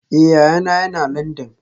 Eh, yayana yana Landan